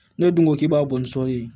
N'o dun ko k'i b'a bɔ ni sɔli ye